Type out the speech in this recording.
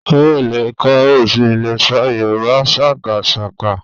Ó lè kọ ó sì lè ṣọ Yorùbá sákásáká